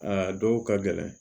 A dɔw ka gɛlɛn